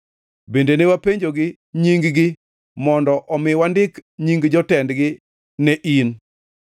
Bende ne wapenjogi nying-gi, mondo omi wandik nying jotendgi ne in.